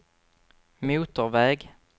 motorväg